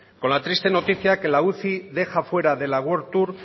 con la triste noticia que la uci deja fuera de la world tour